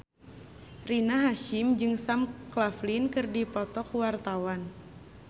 Rina Hasyim jeung Sam Claflin keur dipoto ku wartawan